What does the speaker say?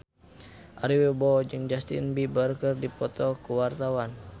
Ari Wibowo jeung Justin Beiber keur dipoto ku wartawan